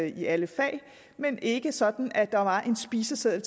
i alle fag men ikke sådan at der var en spiseseddel